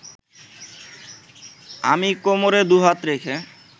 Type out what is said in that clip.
আমি কোমরে দু’হাত রেখে